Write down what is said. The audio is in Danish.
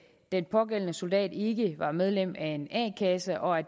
den pågældende soldat ikke var medlem af en a kasse og at